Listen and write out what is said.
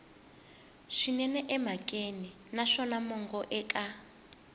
swinene emhakeni naswona mongo eka